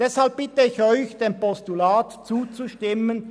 Deshalb bitte ich Sie, dem Postulat zuzustimmen.